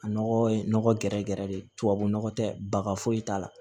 A nɔgɔ ye nɔgɔ gɛrɛgɛrɛ de ye tubabu nɔgɔ tɛ baga foyi t'a la